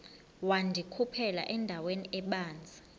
wandikhuphela endaweni ebanzi